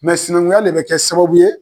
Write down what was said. sinankunya le bɛ kɛ sababu ye.